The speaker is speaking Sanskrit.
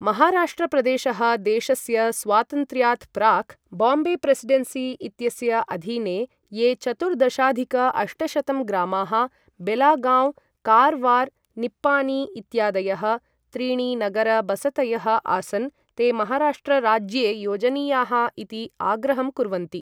महाराष्ट्र प्रदेशः, देशस्य स्वातन्त्र्यात् प्राक्, बोम्बे प्रेसिडेन्सी इत्यस्य अधीने ये चतुर्दशाधिक अष्टशतं ग्रामाः, बेलागाँव्, कारवार्, निप्पानी इत्यादयः, त्रीणि नगर बसतयः, आसन्, ते महाराष्ट्र राज्ये योजनीयाः इति आग्रहं कुर्वन्ति।